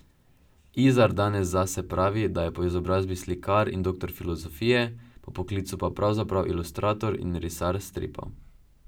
Izar danes zase pravi, da je po izobrazbi slikar in doktor filozofije, po poklicu pa pravzaprav ilustrator in risar stripov.